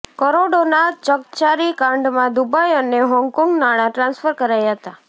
કરોડોના ચકચારી કાંડમાં દુબઇ અને હોંગકોંગ નાણાં ટ્રાન્સફર કરાયા હતા